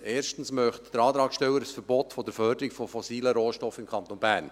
Erstens möchte der Antragsteller ein Verbot der Förderung von fossilen Rohstoffen im Kanton Bern.